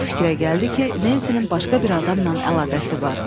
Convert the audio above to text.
Bu fikrə gəldi ki, Nensinin başqa bir adamla əlaqəsi var.